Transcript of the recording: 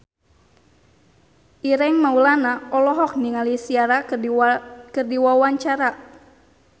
Ireng Maulana olohok ningali Ciara keur diwawancara